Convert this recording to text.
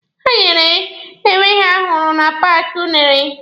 Ha nyere enwe ha hụrụ na paaki unere.